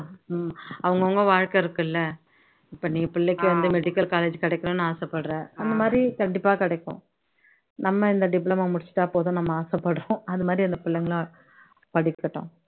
உம் அவங்கவங்க வாழ்க்கை இருக்குல்ல இப்போ நீ வந்து பிள்ளைக்கு medical college கிடைக்கணும்னு ஆசைப்படுற அந்த மாதிரி கண்டிப்பா கிடைக்கும் நம்ம இந்த diploma முடிchசுட்டா போதும்னு ஆசைப்படுறோம் அது மாதிரி அந்த புள்ளைங்களும் படிக்கட்டும்